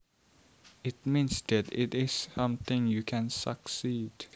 It means that it is something you can succeed